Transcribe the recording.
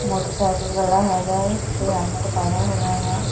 Motorcycle ਵਾਲਾ ਹੈਗਾ ਹੈ ਤੇ ਹੈਲਮੈਟ ਪਾਇਆ ਹੋਇਆ ਆ।